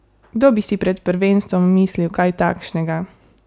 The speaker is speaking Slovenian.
Kdo bi si pred prvenstvom mislil kaj takšnega?